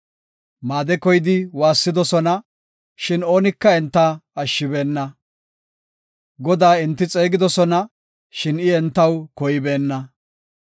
Maade koyidi waassidosona, shin oonika enta ashshibeenna. Godaa enti xeegidosona, shin I entaw koybeenna.